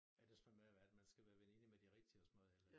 Er det sådan noget med at man skal være veninde med de rigtige og sådan noget eller